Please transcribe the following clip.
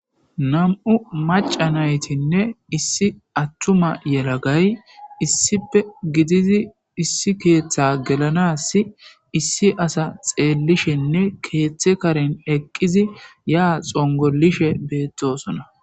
nam7u macanaytinne issi attuma yelagay issipe gidizi issi keeththa gelanassi issi asa xeellishenne keeththe karen eqqizi ya xongolishe beettosona